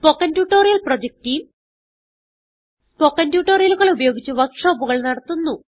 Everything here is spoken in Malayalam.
spoken tutorial project team spoken ട്യൂട്ടോറിയലുകൾ ഉപയോഗിച്ച് വർക്ക് ഷോപ്പുകൾ നടത്തുന്നു